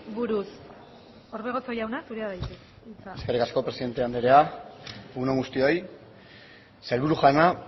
buruz orbegozo jauna zurea da hitza eskerrik asko presidente anderea egun on guztioi sailburu jauna